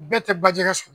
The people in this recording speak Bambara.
Bɛɛ tɛ bajɛgɛ so